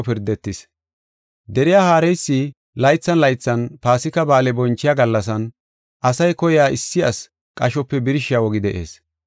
Deriya haareysi laythan laythan Paasika Ba7aale bonchiya gallasan, asay koyiya issi asi qashope birshiya wogi de7ees.